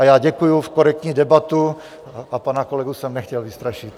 A já děkuju za korektní debatu a pana kolegu jsem nechtěl vystrašit.